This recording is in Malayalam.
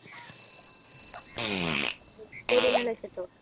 പൊതീനല വെച്ചിട്ടോ